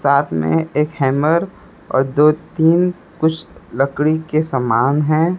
साथ में एक हैमर और दो तीन कुछ लकड़ी के समान है।